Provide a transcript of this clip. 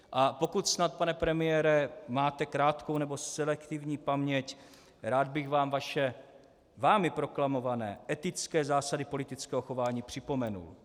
A pokud snad pane premiére máte krátkou nebo selektivní paměť, rád bych vám vaše vámi proklamované etické zásady politického chování připomenul.